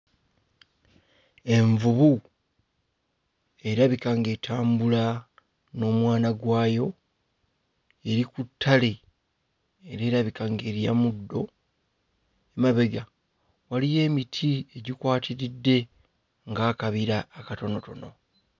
Envubu erabika nga etambula n'omwana gwayo eri ku ttale era erabika ng'erya muddo mabega waliyo emiti egikwatiridde nga akabira akatonotono.